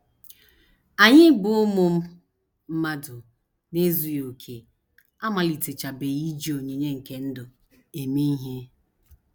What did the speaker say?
Anyị bụ́ ụmụ mmadụ na - ezughị okè amalitechabeghị iji onyinye nke ndụ eme ihe.